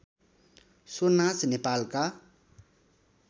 so नाच नेपालका